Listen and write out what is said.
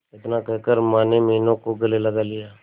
इतना कहकर माने मीनू को गले लगा लिया